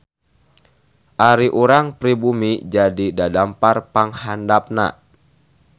Ari urang pribumi jadi dadampar panghandapna.